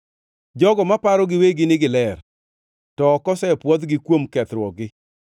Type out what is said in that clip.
jogo ma paro giwegi ni giler to ok osepwodhgi kuom kethruokgi;